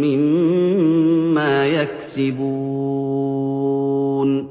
مِّمَّا يَكْسِبُونَ